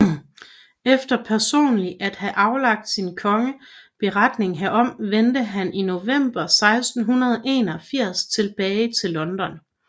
Efter personlig at have aflagt sin konge beretning herom vendte han i november 1681 tilbage til London